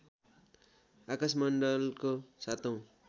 आकशमण्डलको सातौँ